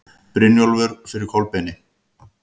Brynjólfur fyrir Kolbeini.